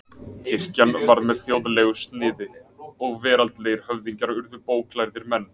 Kirkjan varð með þjóðlegu sniði og veraldlegir höfðingjar urðu bóklærðir menn.